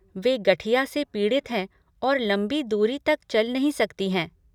वे गठिया से पीड़ित है और लंबी दूरी तक चल नहीं सकती हैं।